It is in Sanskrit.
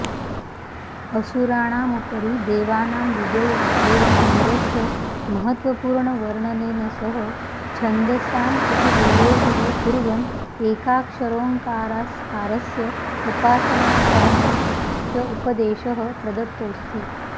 असुराणामुपरि देवानां विजयः एवमिन्द्रस्य महत्त्वपूर्णवर्णनेन सह छन्दसामप्युल्लेखः कुर्वन् एकाक्षरोङ्कारस्य उपासनाकरणस्य उपदेशः प्रदत्तोऽस्ति